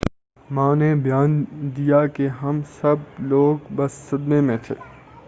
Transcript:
ماں نے بیان دیا کہ ہم سب لوگ بس صدمے میں تھے